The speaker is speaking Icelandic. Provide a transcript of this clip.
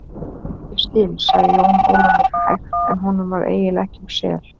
Ég skil, sagði Jón Ólafur hægt en honum varð eiginlega ekki um sel.